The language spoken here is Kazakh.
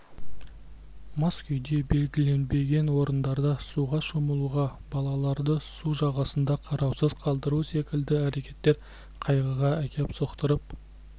мас күйде белгіленбеген орындарда суға шомылу балаларды су жағасында қараусыз қалдыру секілді әрекеттер қайғыға әкеп соқтырып